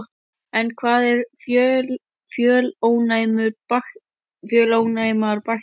En hvað eru fjölónæmar bakteríur?